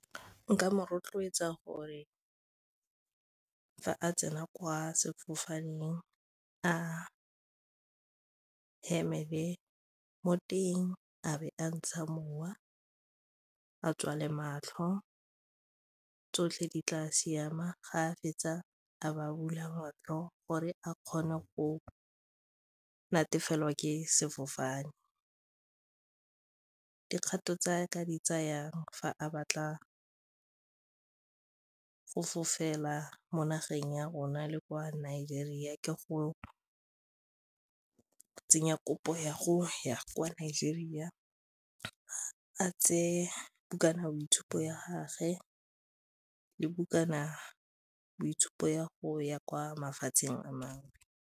Nka mo rotloetsa gore fa a tsena kwa sefofaneng a emele mo teng a be a ntsha mowa, a tswale matlho tsotlhe di tla siama ga a fetsa a ba bula motho gore a kgone go natefela ke sefofane. Dikgato tsa ka di tsayang fa a batla fofela mo nageng ya rona le kwa Nigeria ke go tsenya kopo ya go ya kwa Nigeria a tseye bukana boitshupo ya gagwe le bukana boitshupo ya go ya kwa mafatsheng a mangwe.